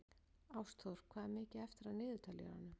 Ástþór, hvað er mikið eftir af niðurteljaranum?